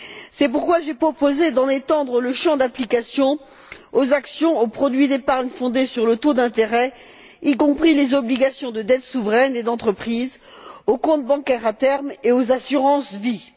C'est pourquoi j'ai proposé d'en étendre le champ d'application aux actions, aux produits d'épargne fondés sur le taux d'intérêt, y compris les obligations de dette souveraine et d'entreprises, aux comptes bancaires à terme et aux assurances vie.